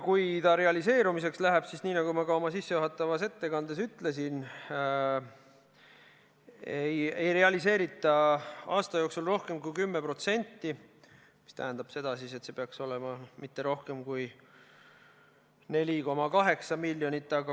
Kui realiseerimiseks läheb, siis nagu ma ka oma sissejuhatavas ettekandes ütlesin, ei realiseerita aasta jooksul rohkem kui 10%, mis tähendab seda, et see ei peaks olema rohkem kui 4,8 miljonit.